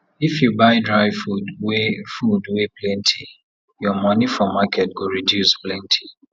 if you buy dry food wey food wey plenty your money for market go reduce plenty